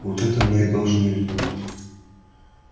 вот это мы и должны изменить